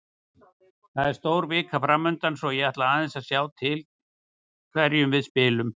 Það er stór vika framundan svo ég ætla aðeins að sjá til hverjum við spilum.